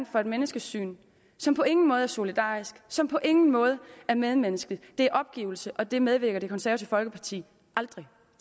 for et menneskesyn som på ingen måde er solidarisk som på ingen måde er medmenneskeligt det er opgivelse og det medvirker det konservative folkeparti aldrig